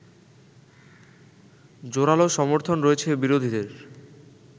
জোরালো সমর্থন রয়েছে বিরোধীদের